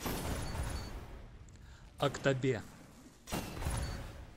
актобе